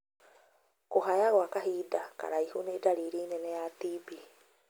Kũhaya gwa kahinda karaihu nĩ ndariri nene ya TB.